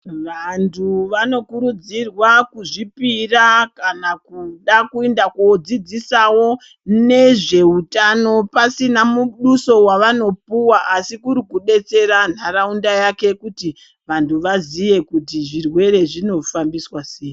Vantu vanokurudzirwa kuzvipira kana kuda kuenda kodzidzisawo nezvehutano pasina muduso wavanopuwa asi kuri kudetsera nharaunda yake kuti vantu vazive kuti zvirwere zvinofambiswa sei.